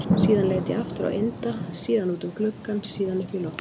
Síðan leit ég aftur á Inda, síðan út um gluggann, síðan upp í loftið.